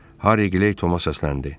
Harri Toma səsləndi.